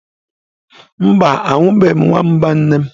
Mba, ahubeghi nwamba nne'm.